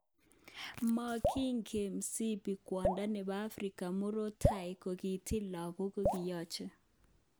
Bongekile Msibi kwondo nebo Africa murot tai kokikitil lagok kokiyoche.